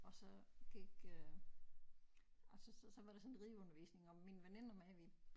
Og så gik øh altså så så var der sådan rideundervisning og min veninde og mig vi